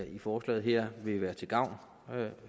i forslaget her vil være til gavn